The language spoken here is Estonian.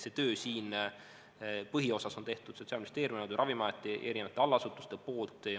See töö siin põhiosas on Sotsiaalministeeriumi, Ravimiameti ja erinevate allasutuste tehtud.